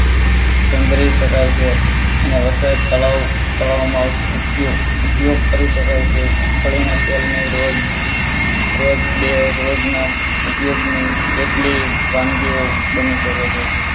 સંઘરી શકાય છે અને વરસાદ તળાવ તળાવમાં ઉપયોગ કરી શકાય છે મગફળી ના તેલને રોજ રોજ બે રોજના ઉપયોગની કેટલીક વાનગીઓ બની શકે છે.